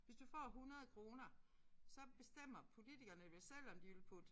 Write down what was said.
Hvis du får 100 kroner så bestemmer politikerne vel selv om de vil putte